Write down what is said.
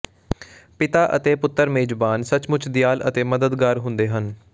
ਪਿਤਾ ਅਤੇ ਪੁੱਤਰ ਮੇਜਬਾਨ ਸੱਚਮੁੱਚ ਦਿਆਲ ਅਤੇ ਮਦਦਗਾਰ ਹੁੰਦੇ ਹਨ